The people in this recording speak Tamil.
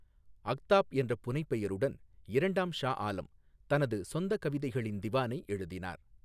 அஃதாப் என்ற புனைப்பெயருடன் இரண்டாம் ஷா ஆலம் தனது சொந்த கவிதைகளின் திவானை எழுதினார்.